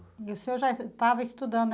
E o senhor já estava estudando.